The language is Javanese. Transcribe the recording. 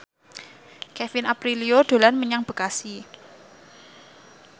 Kevin Aprilio dolan menyang Bekasi